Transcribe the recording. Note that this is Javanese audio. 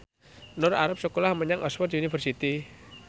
Nur arep sekolah menyang Oxford university